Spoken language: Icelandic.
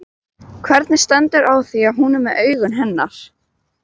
Hvernig stendur á því að hún er með augun hennar?